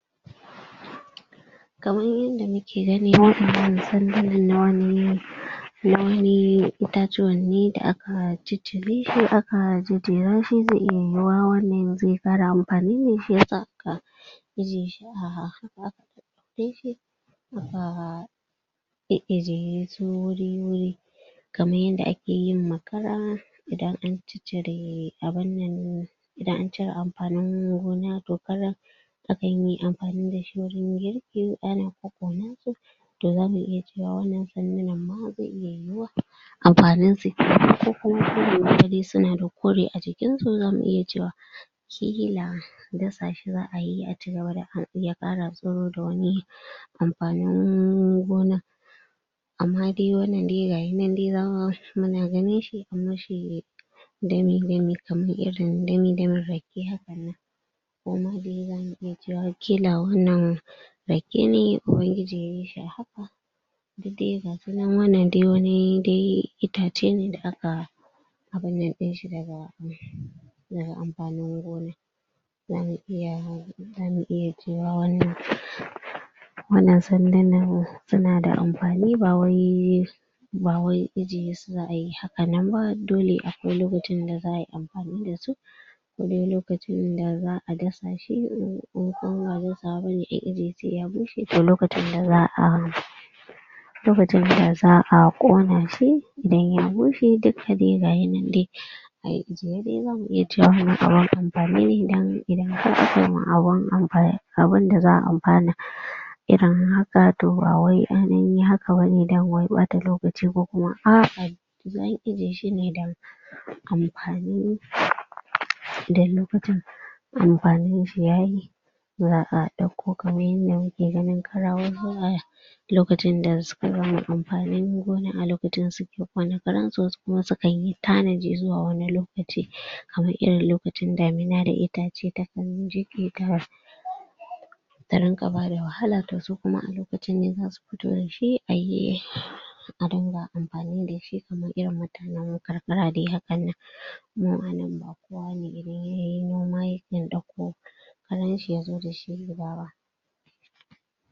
Kaman yanda muke gani waƴannan sandunan na wani na wani itatuwan ne da a a ciccire shi a a jejjera shi zai iya yiwuwa wannan zai ƙara amfani ne shi ya sa aka eijye shi a gefe aka e'ejiye su wuri-wuri kaman yanda ake yin makara idan an ciccire abun nan idan an cire amfanin gona to karan akan yi amfani da shi wajen To zamu iya cewa wannan sandunan ma zai iya yiwuwa. Amfanin su kenan ko kuma su na da kore a jikin su zamu iya cewa ƙila dasa shi za'a yi a cigaba da am ya fara tsiro da wani amfanin gona. Amma dai wannan dai ga ya nan da za muna ganin shi am mishi dami-dami kamar irin dami-damin rake haka ko ma dai zamu iya cewa kila wannan rake ne Ubangiji duk dai ga su nan wannan dai wani dai itace ne da aka abun nan ɗin da daga amfanin gona. Za mu iya za mu iya cewa wannan wannan sandunan su na da amfani ba wai ba wai ejiye su za'a yi ha ka nan ba. Dole akwai lokacin da za'a yi amfani da su. Kodai lokacin da za'a dasa shi ko kuma ba dasawa bane ƙila dai sai ya bushe to lokacin ne za'a lokacin za'a ƙona shi. Idan ya bushe duka dai ga ya nan dai. ayi ejiye, sai dai zamu iya cewa a nan abun amfani ne don idan aka koma abun abun da za'a amfana irin haka to bawai ainihin ha ka bane don wai ɓata lokaci ko kuma a'a dai za'a ejiye shi don amfani da lokutana amfanin yayi. Za'a ƙara ɗauko kaman yanda muke ganin lokacin da suka gama amfanin gona a lokacin su wani karan su, wasu kuma su kanyi tanaji zuwa lo kaci, kamar irin lokacin damina da itace takan jike ta ta rinƙa bada wahala to su kuma a lokacin ne za su fito dashi ayi a dinga amfani da shi kamar irin mutanen kar-kara dai hakan nan. Mu a nan ba kowa ne idan yayi noma yakan ɗauko karan shi ya zo da shi gida ba.